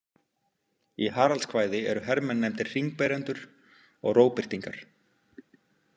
Í Haraldskvæði eru hermenn nefndir hringberendur og rógbirtingar.